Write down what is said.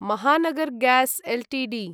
Mahanagar gas Ltd